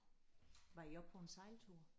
Var I også på en sejltur?